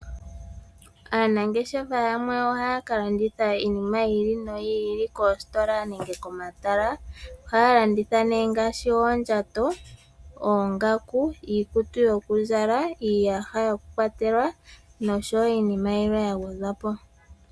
Aanengeshefa yamwe ohaya ka landitha iinima yili noyili koostola nenge komatala ohaya landitha ne ngaashi oodjato, ongaku ,iikutu yokuzala , iiyaha yokukwatelwa nosho wo iinima yilwe ya gwedha po.